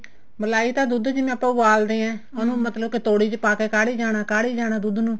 ਮਲਾਈ ਤਾਂ ਦੁੱਧ ਜਿਵੇਂ ਆਪਾਂ ਉਬਲਦੇ ਹਾਂ ਉਹਨੂੰ ਮਤਲਬ ਤੋੜੀ ਚ ਪਾਕੇ ਕਾਢੀ ਜਾਣਾ ਦੁੱਧ ਨੂੰ